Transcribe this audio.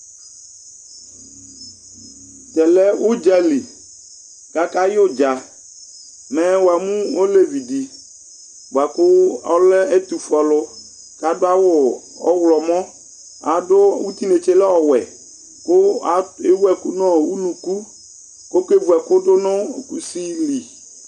tɛlɛ udzali ka ka yu dză mɛ wamu olévi di bua ku ɔlɛ ɛtufué alu ka adu awu ɔwlɔmɔ adu tinétsé lɛ ɔwɛ ku éwu ɛku nu unuku kɔké vu ɛku du kusi li